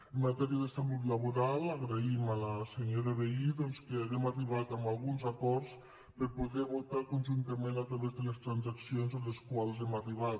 en matèria de salut laboral agraïm a la senyora vehí doncs que haguem arribat a alguns acords per poder votar conjuntament a través de les transaccions a les quals hem arribat